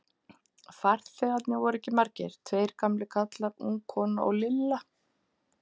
Farþegarnir voru ekki margir, tveir gamlir karlar, ung kona og Lilla.